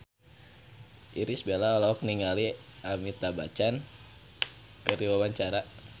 Irish Bella olohok ningali Amitabh Bachchan keur diwawancara